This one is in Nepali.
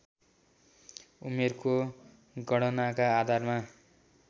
उमेरको गणनाका आधारमा